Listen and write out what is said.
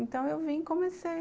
Então eu vim e comecei.